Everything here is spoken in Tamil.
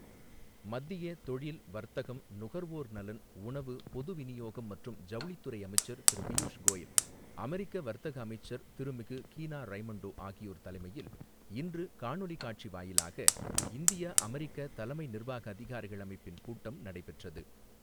மத்திய தொழில், வர்த்தகம், நுகர்வோர் நலன், உணவு, பொது விநியோகம் மற்றும் ஜவுளித்துறை அமைச்சர் திரு பியூஷ் கோயல், அமெரிக்க வர்த்தக அமைச்சர் திருமிகு கீனா ரைமோண்டோ ஆகியோர் தலைமையில் இன்று காணொலி காட்சி வாயிலாக இந்தியா அமெரிக்கா தலைமை நிர்வாக அதிகாரிகள் அமைப்பின் கூட்டம் நடைபெற்றது.